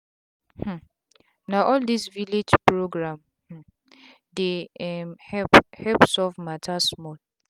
um na all this village health program um dey um help help solve matter small.